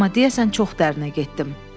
Amma deyəsən çox dərinə getdim.